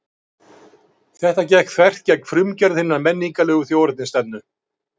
Þetta gekk þvert gegn frumgerð hinnar menningarlegu þjóðernisstefnu.